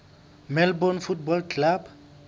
melbourne football club